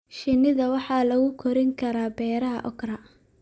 Shinida waxaa lagu korin karaa beeraha okra.